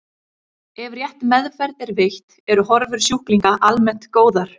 Ef rétt meðferð er veitt eru horfur sjúklinga almennt góðar.